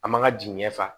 An man ka jigin ɲɛ fa